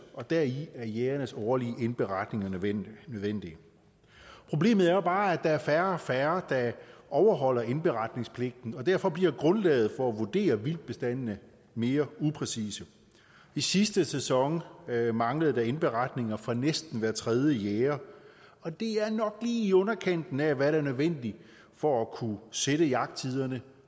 og dertil er jægernes årlige indberetninger nødvendige problemet er jo bare at der er færre og færre der overholder indberetningspligten og derfor bliver grundlaget for at vurdere vildtbestandene mere upræcist i sidste sæson manglede der indberetninger fra næsten hver tredje jæger og det er nok lige i underkanten af hvad der er nødvendigt for at kunne sætte jagttiderne